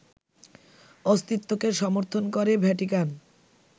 অস্তিত্বকে সমর্থন করে ভ্যাটিকান